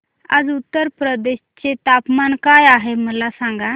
आज उत्तर प्रदेश चे तापमान काय आहे मला सांगा